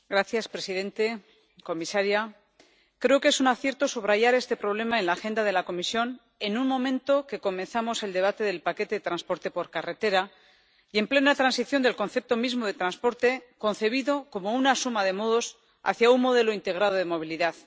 Señor presidente, señora comisaria, creo que es un acierto subrayar este problema en la agenda de la Comisión, en un momento que comenzamos el debate del paquete de transporte por carretera y en plena transición del concepto mismo de transporte, concebido como una suma de modos hacia un modelo integrado de movilidad.